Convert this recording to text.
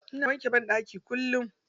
Ina wanke banɗaki kullum.